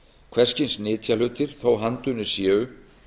hvers kyns nytjahlutir þótt handunnir séu